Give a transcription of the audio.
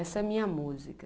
Essa é a minha música.